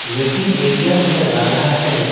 Waiting area नजर आ रहा है।